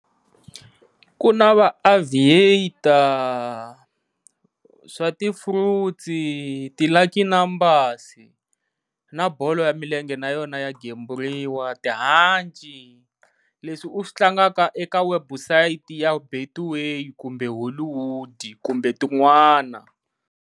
Ku na va Aviator swa ti Fruits ti Lucky Numbers na bolo ya milenge na yona ya gemburiwa, tihanci leswi u swi tlangaka eka website ya Betway kumbe Hollywood kumbe tin'wana.